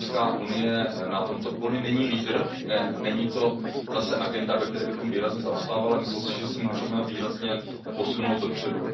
EU na tomto poli není lídr, není to zase agenda, ve které bychom výrazně zaostávali, ale myslím si, že se můžeme výrazně posunout dopředu.